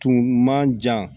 Tun man jan